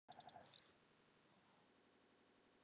Ákveðinn greinir í fleirtölu.